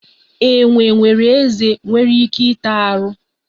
Enwe nwekwara ezé nwere ike ịta arụ.